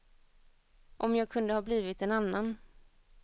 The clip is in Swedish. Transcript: Om jag kunde ha blivit en annan.